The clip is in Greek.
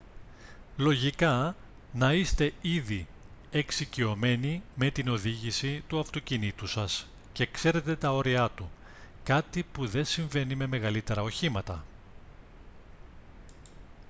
λογικά να είστε ήδη εξοικειωμένοι με την οδήγηση του αυτοκινήτου σας και ξέρετε τα όριά του κάτι που δε συμβάινει με μεγαλύτερα οχήματα